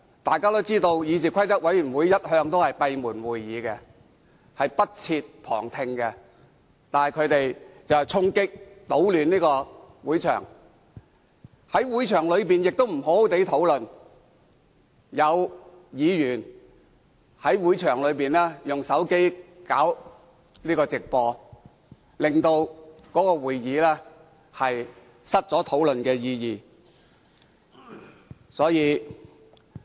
大家都知道，議事規則委員會的會議一向閉門舉行，不設旁聽，但他們卻衝擊、搗亂會場，在會場內亦沒有好好參與討論，更在會場內利用手機直播會議過程，令會議失卻意義。